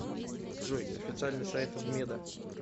джой официальный сайт вмеда